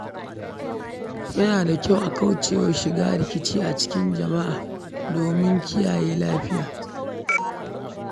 Yana da kyau a kauce wa shiga rikici a cikin jama'a domin tsira da lafiya.